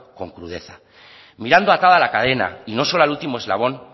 con crudeza mirando atada la cadena y no solo al último eslabón